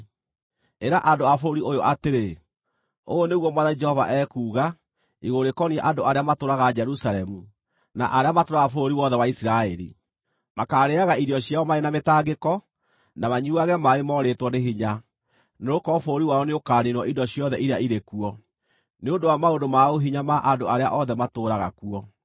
Ĩra andũ a bũrũri ũyũ atĩrĩ, ‘Ũũ nĩguo Mwathani Jehova ekuuga igũrũ rĩkoniĩ andũ arĩa matũũraga Jerusalemu na arĩa matũũraga bũrũri wothe wa Isiraeli: Makaarĩĩaga irio ciao marĩ na mĩtangĩko, na manyuuage maaĩ moorĩtwo nĩ hinya nĩgũkorwo bũrũri wao nĩũkaniinwo indo ciothe iria irĩ kuo, nĩ ũndũ wa maũndũ ma ũhinya ma andũ arĩa othe matũũraga kuo.